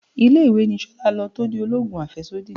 Ilé-ìwé ni Ṣolá lọ tó di oloogun afesodi.